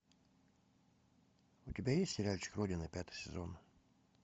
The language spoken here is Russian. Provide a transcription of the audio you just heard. у тебя есть сериальчик родина пятый сезон